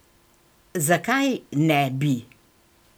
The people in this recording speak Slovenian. Zakaj ne bi?